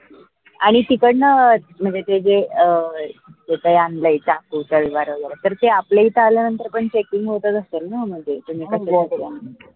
आनि तिकडन म्हनजे ते जे अं जे काई आनलय चाकू, तलवार वगैरे तर ते आपल्या इथं आल्यानंतर पन checking होतच असेल ना म्हनजे